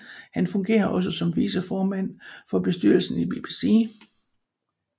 Han fungerede også som viceformand for bestyrelsen i BBC